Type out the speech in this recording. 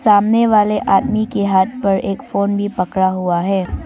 सामने वाले आदमी के हाथ पर एक फोन भी पकड़ा हुआ है।